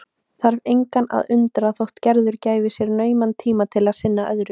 Þarf engan að undra þótt Gerður gæfi sér nauman tíma til að sinna öðru.